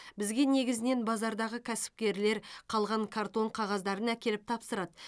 бізге негізінен базардағы кәсіпкерлер қалған картон қағаздарын әкеліп тапсырады